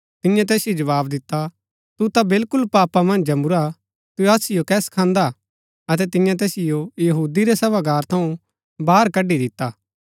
तियें तैसिओ जवाव दिता तू ता बिलकुल पापा मन्ज जमुरा तू असिओ कै सखांदा हा अतै तियें तैसिओ यहूदी रै सभागार थऊँ बाहर कड्ड़ी दिता